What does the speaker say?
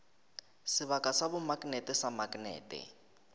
sebaka sa bomaknete sa maknete